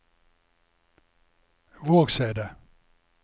Vågseidet